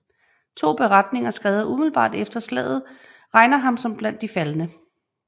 To beretninger skrevet umiddelbart efter slaget regner ham som blandt de faldne